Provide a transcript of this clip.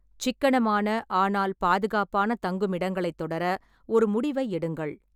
சிக்கனமான, ஆனால் பாதுகாப்பான, தங்குமிடங்களைத் தொடர ஒரு முடிவை எடுங்கள்.